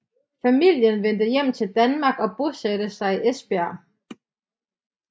Familien vendte hjem til Danmark og bosatte sig i Esbjerg